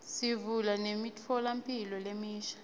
sivula nemitfolamphilo lemisha